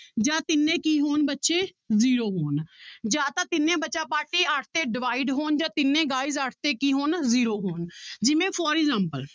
ਜਾਂ ਤਿੰਨੇ ਕੀ ਹੋਣ ਬੱਚੇ zero ਹੋਣ ਜਾਂ ਤਾਂ ਤਿੰਨੇ ਬੱਚਾ ਪਾਰਟੀ ਅੱਠ ਤੇ divide ਹੋਣ ਜਾਂ ਤਿੰਨੇ guys ਅੱਠ ਤੇ ਕੀ ਹੋਣ zero ਹੋਣ ਜਿਵੇਂ for example